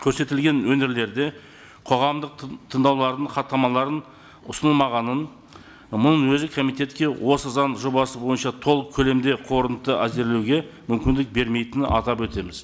көрсетілген өңірлерде қоғамдық тыңдаулардың хаттамаларын ұсынылмағанын мұнің өзі комитетке осы заң жобасы бойынша толық көлемде әзірлеуге мүмкіндік бермейтінін атап өтеміз